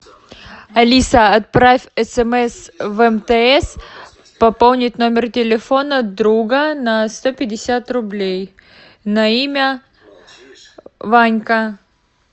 алиса отправь смс в мтс пополнить номер телефона друга на сто пятьдесят рублей на имя ванька